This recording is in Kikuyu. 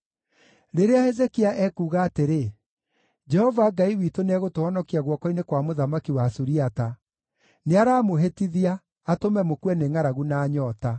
Rĩrĩa Hezekia ekuuga atĩrĩ, ‘Jehova Ngai witũ nĩegũtũhonokia guoko-inĩ kwa mũthamaki wa Suriata,’ nĩaramũhĩtithia, atũme mũkue nĩ ngʼaragu na nyoota.